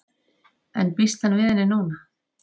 En býst hann við henni núna?